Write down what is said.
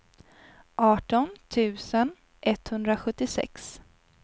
arton tusen etthundrasjuttiosex